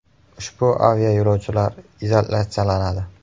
Ushbu aviayo‘lovchilar izolyatsiyalanadi.